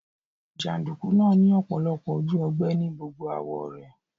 Jàndùkú náà ni ọ̀pọ̀lọpọ̀ ojú ogbẹ́ ni gbogbo àwó rẹ̀